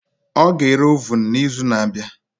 Ọ ga-ere ovun n'izu na-abịa